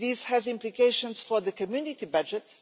That has implications for the Community budget.